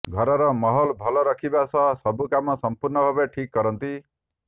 ଘରର ମାହୋଲ ଭଲ ରଖିବା ସହ ସବୁ କାମ ସମ୍ପୂର୍ଣ୍ଣ ଭାବେ ଠିକ୍ କରନ୍ତି